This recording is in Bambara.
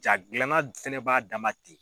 Jaa gilanna fɛnɛ b'a dama